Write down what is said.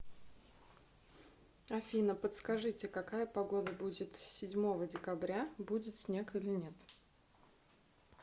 афина подскажите какая погода будет седьмого декабря будет снег или нет